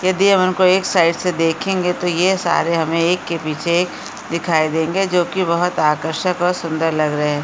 यदि हम उनको एक साइड से देखेंगे तो ये सारे हमें एक के पीछे एक दिखाई देंगे जो की बहुत आकर्षक और सुन्दर लग रहे --